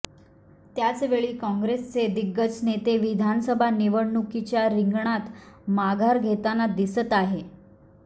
त्याचवेळी काँग्रेसचे दिग्गज नेते विधानसभा निवडणुकीच्या रिंगणात माघार घेताना दिसत आहे